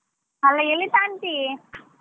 ಅಲ್ಲ ಎಲ್ಲಿ ತಗಂತಿ.